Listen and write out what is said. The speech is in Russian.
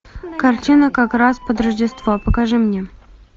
картина как раз под рождество покажи мне